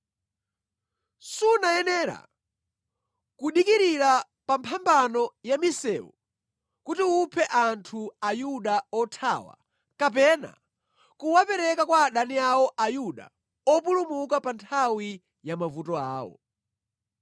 Sunayenera kudikirira pamphambano ya misewu kuti uphe Ayuda othawa, kapena kuwapereka kwa adani awo Ayuda opulumuka pa nthawi ya mavuto awo.”